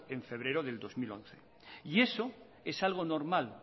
en febrero del dos mil once y eso es algo normal